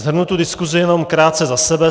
Shrnu tu diskusi jenom krátce za sebe.